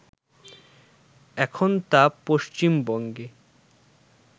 এখন তা পশ্চিমবঙ্গে